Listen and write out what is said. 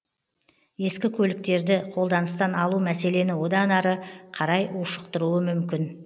ескі көліктерді қолданыстан алу мәселені одан ары қарай ушықтыруы мүмкін